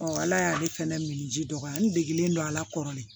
ala y'ale fɛnɛ min ji dɔgɔya n degelen don ala kɔrɔlen